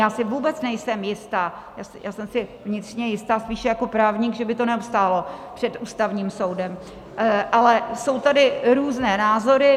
Já si vůbec nejsem jistá, já jsem si vnitřně jistá spíš jako právník, že by to neobstálo před Ústavním soudem, ale jsou tady různé názory.